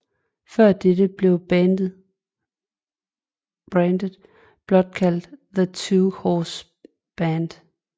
Før dette blev brandet blot kaldt The Two Horse Brand